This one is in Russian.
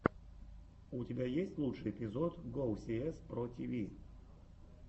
у тебя есть лучший эпизод гоусиэс про тиви